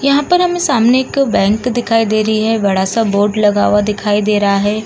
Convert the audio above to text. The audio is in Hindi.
यहाँ पर हमे सामने एक बैंक दिखाई दे रही है| बड़ा सा बोर्ड लगा हुआ दिखाई दे रहा है।